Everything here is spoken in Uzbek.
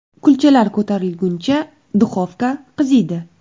Kulchalar ko‘tarilguncha, duxovka qiziydi.